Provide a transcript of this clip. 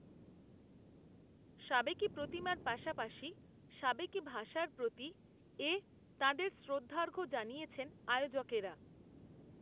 সাবেকি প্রতিমার পাশাপাশি সাবেকি ভাষার প্রতি, এ, তাঁদের শ্রদ্ধার্ঘ জানিয়েছেন, আয়োজকেরা